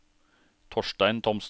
Torstein Thomsen